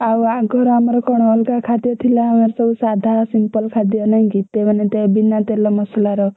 ଆଉ ଆଙ୍କର ଆମର କଣ ଅଲଗା ଖାଦ୍ୟ ଥିଲା ଆମର ସବୁ ସାଧା simple ଖାଦ୍ୟ ନାଇକି ତେ~ ମାନେ ବିନା ତେଲ ମସଲାର।